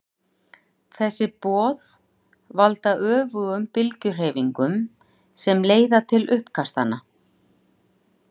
þessi boð valda öfugum bylgjuhreyfingunum sem leiða til uppkastanna